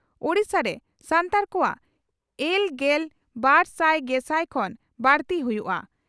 ᱳᱰᱤᱥᱟ ᱨᱮ ᱥᱟᱱᱛᱟᱲ ᱠᱚᱣᱟᱜ ᱮᱞ ᱜᱮᱞ ᱵᱟᱨ ᱥᱟᱭ ᱜᱮᱥᱟᱭ ᱠᱷᱚᱱ ᱵᱟᱹᱲᱛᱤ ᱦᱩᱭᱩᱜᱼᱟ ᱾